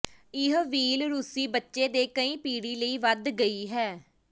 ਇਹ ਵ੍ਹੀਲ ਰੂਸੀ ਬੱਚੇ ਦੇ ਕਈ ਪੀੜ੍ਹੀ ਲਈ ਵਧ ਗਈ ਹੈ